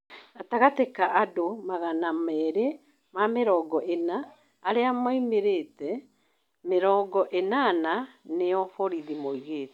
Gatagatĩ ka andũ magana merĩ ma mĩrongo ĩna arĩa momĩrĩte, mĩrongo ĩnana nĩo borithi maugĩte